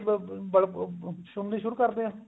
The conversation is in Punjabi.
ਨਾੜੀ ਦੀ ਅਮ ਅਮ ਸ਼ੁਰੂ ਕਰਦੇ ਹਾਂ